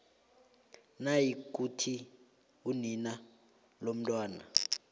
nayikuthi unina lomntwana